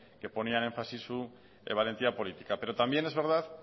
que ponía en énfasis su valentía política pero también es verdad